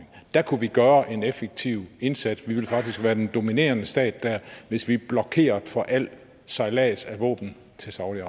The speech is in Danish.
der kunne vi gøre en effektiv indsats vi ville faktisk være den dominerende stat der hvis vi blokerede for al sejlads af våben til saudi